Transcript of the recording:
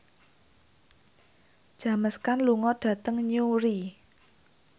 James Caan lunga dhateng Newry